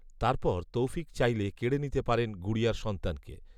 তার পর তৌফিক চাইলে কেড়ে নিতে পারেন গুড়িয়ার সন্তানকে